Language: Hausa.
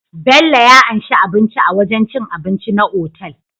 Bello ya anshi abinci a wajan cin abinci na otal